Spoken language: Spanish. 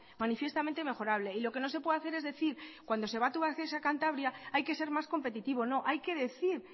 manifiestamente mejorable y lo que no se puede hacer es decir cuando se va tubacex a cantabria hay que ser más competitivo no hay que decir